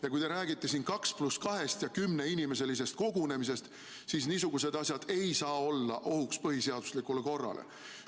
Ja kui te räägite siin kaks pluss kahest ja kümne inimese kogunemisest, siis niisugused asjad ei saa olla ohuks põhiseaduslikule korrale.